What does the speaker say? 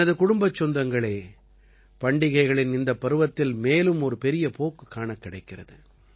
எனது குடும்பச் சொந்தங்களே பண்டிகைகளின் இந்தப் பருவத்தில் மேலும் ஒரு பெரிய போக்கு காணக்கிடைக்கிறது